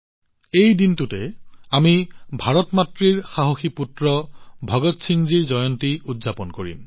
সেই দিনটোতে আমি ভাৰত মাতৃৰ সাহসী পুত্ৰ ভগৎ সিংজীৰ জন্ম জয়ন্তী উদযাপন কৰিম